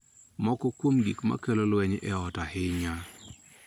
Moko kuom gik ma kelo lweny e ot ahinya